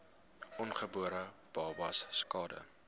ongebore babas skade